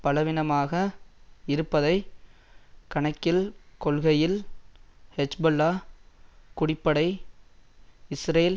பலவீனமாக இருப்பதை கணக்கில்கொள்கையில் ஹெஜ்பொல்லா குடிப்படை இஸ்ரேல்